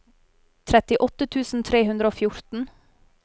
trettiåtte tusen tre hundre og fjorten